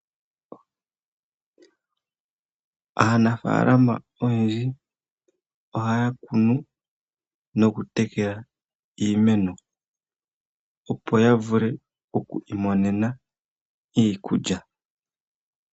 Aanafaalama oyendji ohaya kunu no kutekela iimeno, opo ya vule oku imonena iikulya.